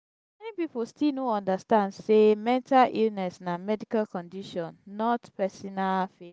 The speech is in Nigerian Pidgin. many people still no understand say mental illness na medical condition not pesinal failing.